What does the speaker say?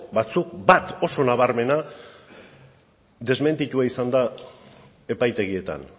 batzuk bat oso nabarmena desmentitua izan da epaitegietan